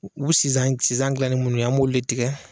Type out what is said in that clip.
U u bi sisan sisan dilan ni munnu ye an b'olu de tigɛ